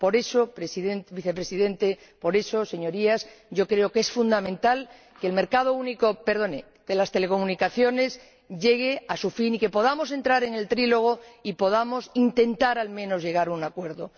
Por eso, Vicepresidente, por eso, Señorías, yo creo que es fundamental que el mercado único de las telecomunicaciones llegue a su fin y que podamos entrar en el trílogo y podamos intentar, al menos, llegar a un acuerdo.